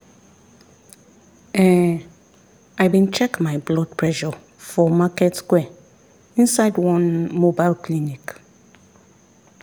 ehn i bin check my blood pressure for market square inside one mobile clinic.